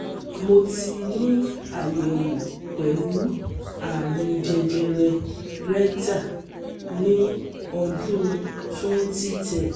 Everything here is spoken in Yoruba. Mo ti ni ayẹwo pẹlu arun jejere rectal ni ọdun twenty ten